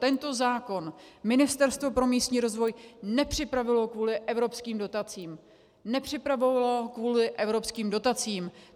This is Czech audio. Tento zákon Ministerstvo pro místní rozvoj nepřipravilo kvůli evropským dotacím, nepřipravovalo kvůli evropským dotacím.